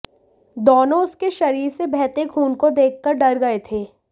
दोनों उसके शरीर से बहते खून को देखकर डर गए थे